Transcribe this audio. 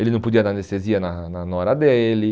Ele não podia dar anestesia na na nora dele.